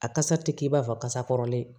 A kasa ti k'i b'a fɔ kasa kɔrɔlen